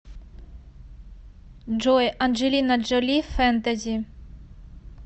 джой анджелина джоли фэнтези